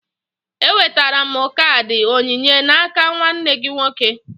Enwetara m kaadị onyinye n'aka nwanne gị nwoke